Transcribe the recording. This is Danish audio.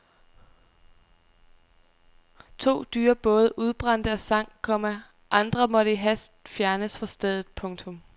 To dyre både udbrændte og sank, komma andre måtte i hast fjernes fra stedet. punktum